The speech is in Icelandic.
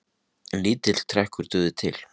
lítill trekkur dugði til